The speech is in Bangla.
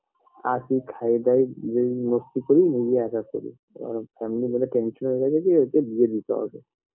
আসি খাই দাই যে মাস্তি করি নিজে একা চলি এবার family বলে tension হয়ে গেছে যে ওকে বিয়ে দিতে হবে